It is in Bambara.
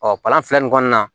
Ɔ kalan fila nin kɔnɔna na